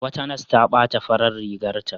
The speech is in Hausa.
Wata nas ta ɓata farar rigarta.